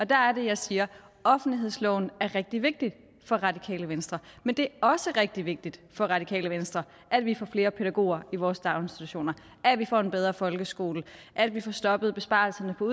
der er det jeg siger at offentlighedsloven er rigtig vigtig for radikale venstre men det også rigtig vigtigt for radikale venstre at vi får flere pædagoger i vores daginstitutioner at vi får en bedre folkeskole at vi får stoppet besparelserne på